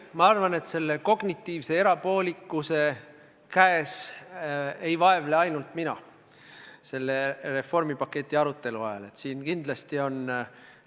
Ma arvan, et selle kognitiivse erapoolikuse käes ei vaevle selle reformipaketi arutelu ajal mitte ainult mina, vaid siin on kindlasti teisigi.